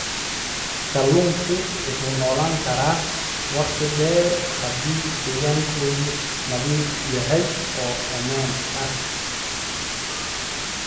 Kalluunku wuxuu noolaan karaa wakhti dheer haddii deegaankoodu nadiif yahay oo ammaan ah.